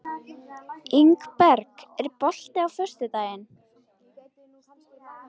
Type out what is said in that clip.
Ingberg, er bolti á föstudaginn?